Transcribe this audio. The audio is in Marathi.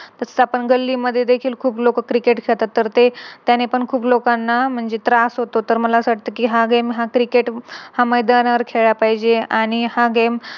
तस आपण गल्ली मध्ये देखील खूप लोक Cricket खेळतात तर ते त्याने पण खूप लोकांना म्हणजे त्रास होतो तर मला हा Game हा Cricket हा मैदानावर खेळला पाहिजे आणि हा Game